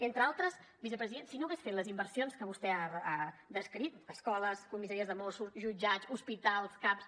entre altres vicepresident si no hagués fet les inversions que vostè ha descrit escoles comissaries de mossos jutjats hospitals caps